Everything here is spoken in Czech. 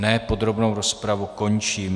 Ne, podrobnou rozpravu končím.